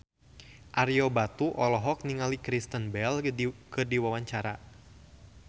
Ario Batu olohok ningali Kristen Bell keur diwawancara